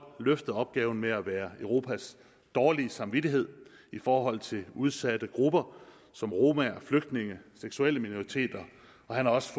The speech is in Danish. løftet opgaven med at være europas dårlige samvittighed i forhold til udsatte grupper som romaer flygtninge seksuelle minoriteter og han har også